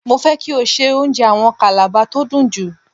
Mo fẹ́ kí o se oúnjẹ àwọn Kàlàba tó dùn jù.